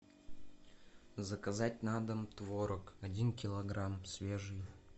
заказать на дом творог один килограмм свежий